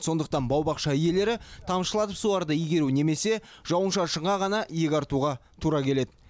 сондықтан бау бақша иелері тамшылатып суаруды игеру немесе жауын шашынға ғана иек артуға тура келеді